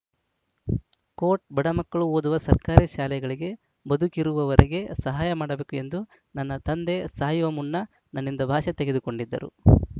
coat ಬಡ ಮಕ್ಕಳು ಓದುವ ಸರ್ಕಾರಿ ಶಾಲೆಗಳಿಗೆ ಬದುಕಿರುವವರೆಗೆ ಸಹಾಯ ಮಾಡಬೇಕು ಎಂದು ನನ್ನ ತಂದೆ ಸಾಯುವ ಮುನ್ನ ನನ್ನಿಂದ ಭಾಷೆ ತೆಗೆದುಕೊಂಡಿದ್ದರು